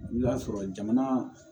I bɛ taa sɔrɔ jamana